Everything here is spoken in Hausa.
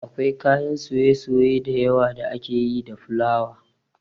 Akwai kayan soye-soye dayawa da ake yi da fulawa